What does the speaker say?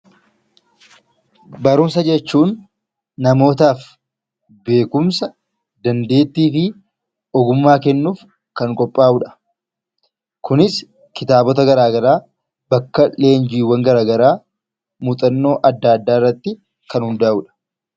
Barumsa jechuun namootaaf beekumsa, dandeettii fi ogummaa kennuuf kan qophaa'uu dha. Kunis kitaabota garaagaraa, bakka leenjiiwwan garaagaraa, muuxannoo adda addaa irratti kan hundaa'uu dha.